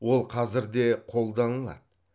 ол қазір де қолданылады